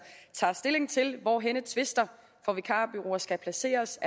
tager stilling til hvor henne tvister for vikarbureauer skal placeres